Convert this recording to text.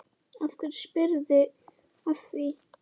Af hverju spyrðu að því?